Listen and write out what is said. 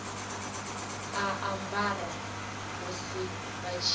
a ambara musi vha tshi